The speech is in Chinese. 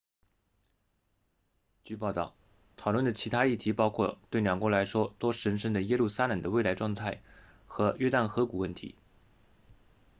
据报道讨论的其他议题包括对两国来说都神圣的耶路撒冷的未来状态和约旦河谷问题